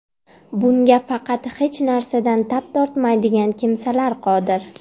Bunga faqat hech narsadan tap tortmaydigan kimsalar qodir.